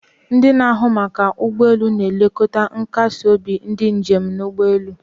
Ndị na-ahụ maka ụgbọ elu na-elekọta nkasi obi ndị njem n'ụgbọelu